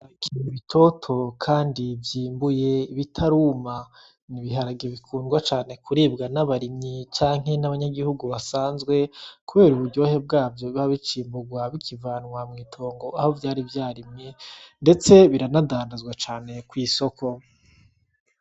Ibiharage bitoto kandi vyimbuye bitaruma. Ni ibiharage bikundwa cane kuribwa n'abarimyi canke n'abanyagihugu basanzwe kubera uburyohe bwavyo biba bicimburwa, bikivanwa mw'itongo aho vyari vyarimwe ndetse biranadandazwa cane kw'isoko.